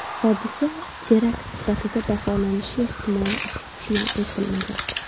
Hodisa terakt sifatida baholanishi ehtimoli istisno etilmagan.